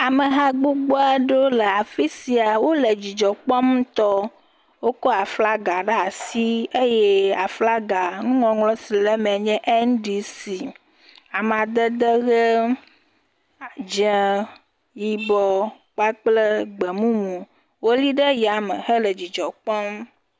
Ameha gbogbo aɖewo le afi sia, wole dzidzɔ kpɔm ŋutɔ, wokɔ aflaga ɖe asi eye aflaga nuŋɔŋlɔ si le eme la nye NDC. Amadede ʋe, dzɛ̃a, yibɔ kple gbemumu wole ɖe yame hele dzidzɔ kpɔm.